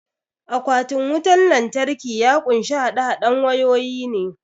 Akwatin wutan lantraki ya kunshi haɗe haɗen wayoyi ne